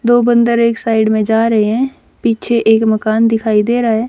दो बंदर एक साइड में जा रहे हैं पीछे एक मकान दिखाई दे रहा है।